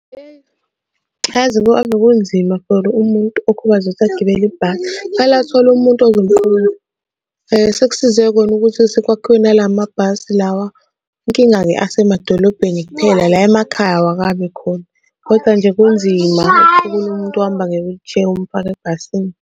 Eyi yazi ave kunzima for umuntu okhubazekile ukuthi agibele ibhasi, kufanele athole umuntu ozomqukula. Sekusize khona ukuthi sekwakhiwe nala mabhasi lawa. Inkinga-ke asemadolobheni kuphela la emakhaya awakabi khona koda nje kunzima ukuqukula umuntu ohamba nge-wheelchair umfake ebhasini.